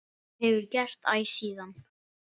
Og hefur gert æ síðan.